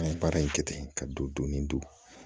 An ye baara in kɛ ten ka don doni don